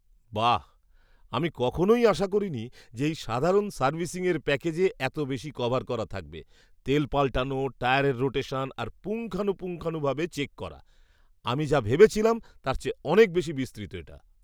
বাহ্, আমি কখনই আশা করিনি যে এই সাধারণ সার্ভিসিংয়ের প্যাকেজে এত বেশি কভার করা থাকবে, তেল পালটানো, টায়ারের রোটেশন আর পুঙ্খানুপুঙ্খানুভাবে চেক করা। আমি যা ভেবেছিলাম তার চেয়ে অনেক বেশি বিস্তৃত এটা!